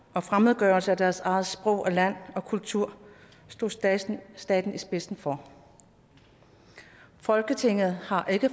og fremmedgørelse af deres eget sprog land og kultur stod staten staten i spidsen for folketinget har